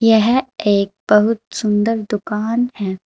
यह एक बहुत सुंदर दुकान है।